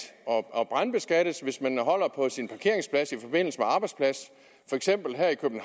og brandskattes hvis man holder på sin parkeringsplads i forbindelse arbejdsplads for eksempel her i